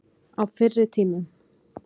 Á fyrri tímum.